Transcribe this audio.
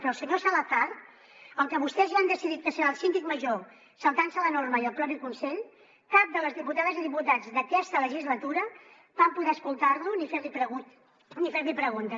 però al senyor salazar el que vostès ja han decidit que serà el síndic major saltant se la norma i el propi consell cap de les diputades i diputats d’aquesta legislatura vam poder escoltar lo ni fer li preguntes